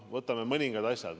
Võtame mõningad asjad.